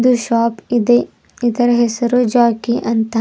ಇದು ಶಾಪ್ ಇದೆ ಇದರ ಹೆಸರು ಜಾಕಿ ಅಂತ.